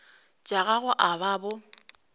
tša gago a ba bo